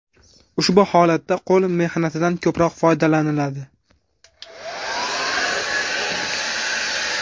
Ushbu holatda qo‘l mehnatidan ko‘proq foydalaniladi.